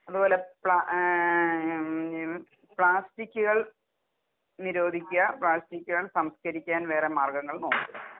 അതുപോലെ പപ്ലാ ഏം പ്ലാസ്റ്റിക്കുകൾ നിരോധിക്കുക പ്ലാസ്റ്റിക്കുകൾ സംസ്കരിക്കാൻ വേറെ മാർഗ്ഗങ്ങൾ നോക്കുക.